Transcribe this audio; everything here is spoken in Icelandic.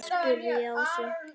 spurði ég Ásu.